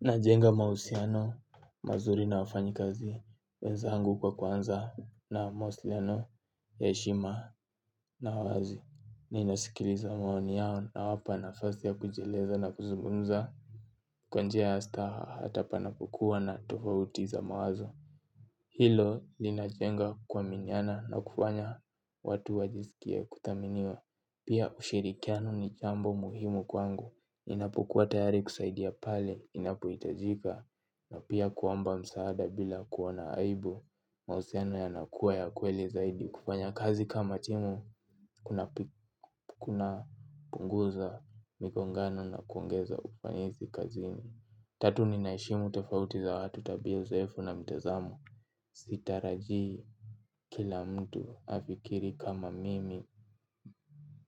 Najenga mahusiano, mazuri na wafanyi kazi, wenzangu kwa kuanza na mawasiliano, ya heshima na wazi. Nina sikiliza maoni yao nawapa nafasi ya kujieleza na kuzungumza. Kwa njia ya staha hata panapo kuwa na tofauti ya mawazo. Hilo linajenga kuaminiana na kufanya watu wajisikie kuthaminiwa. Pia ushirikiano ni jambo muhimu kwangu. Inapokua tayari kusaidia pale inapohitajika. Na pia kuomba msaada bila kuona aibu mahusiano yana kuwa ya kweli zaidi kufanya kazi kama timu kuna punguza mingongano na kuongeza ufanisi kazini. Tatu nina heshimu tofauti za watu tabia zoefu na mtazamo. Sitarajii kila mtu afikiri kama mimi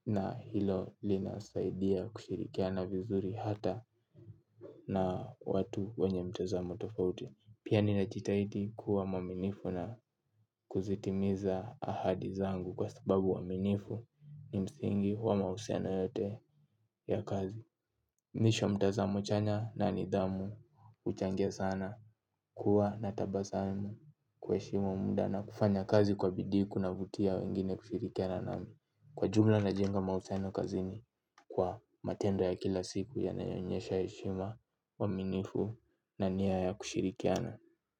na hilo linasaidia kushirikiana vizuri hata na watu wanye mtazamo tofauti. Pia nina jitahidi kuwa mwaminifu na kuzitimiza ahadi zangu kwa sababu uaminifu ni msingi wa mahusiano yote ya kazi. Mwisho mtazamo chanya na nidhamu huchangia sana kuwa na tabasamu kuheshimu muda na kufanya kazi kwa bidii kuna vutia wengine kushirikiana nao. Kwa jumla najenga mahusiano kazini kwa matendo ya kila siku yanayo onyesha heshima uaminifu na nia ya kushirikiana.